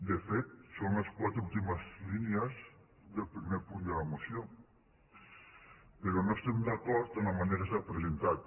de fet són les quatre últimes línies del primer punt de la moció però no estem d’acord en la manera que s’ha presentat